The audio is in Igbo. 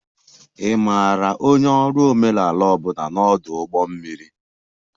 Ị maara onye ọrụ omenala ọ bụla na ọdụ ụgbọ mmiri?